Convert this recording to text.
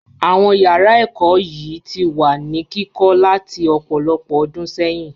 Àwọn yàrá ẹ̀kọ́ yìí ti wà ní kíkọ́ láti ọ̀pọ̀lọpọ̀ ọdún sẹ́yìn.